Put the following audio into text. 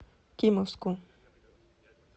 кимовску